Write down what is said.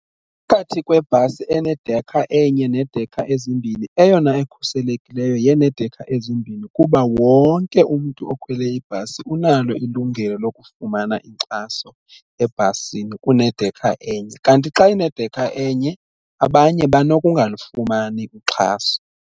Phakathi kwebhasi enedekha enye nedekha ezimbini eyona ekhuselekileyo yenekha ezimbini kuba wonke umntu okhwele ibhasi unalo ilungelo lokufumana inkxaso ebhasini kunedekha enye, kanti xa inedekha enye abanye banokungalifumani uxhaso.